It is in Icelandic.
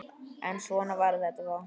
En svona var þetta þá.